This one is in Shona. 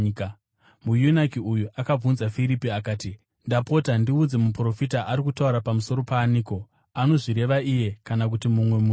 Muyunaki uyu akabvunza Firipi akati, “Ndapota, ndiudze, muprofita ari kutaura pamusoro paaniko, anozvireva iye kana mumwe munhuwo?”